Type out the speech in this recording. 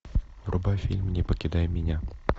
врубай фильм не покидай меня